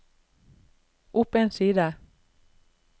opp en side